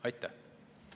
Aitäh!